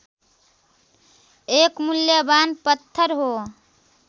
एक मूल्यवान पत्थर हो